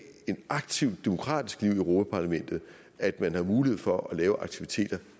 et aktivt demokratisk liv i europa parlamentet at man har mulighed for at lave aktiviteter